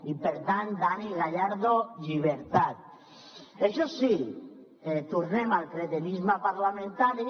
i per tant dani gallardo llibertat això sí tornem al cretinisme parlamentari